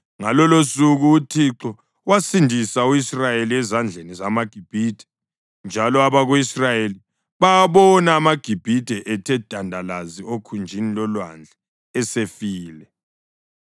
Ngalolosuku uThixo wasindisa u-Israyeli ezandleni zamaGibhithe, njalo abako-Israyeli bawabona amaGibhithe ethe dandalazi okhunjini lolwandle esefile.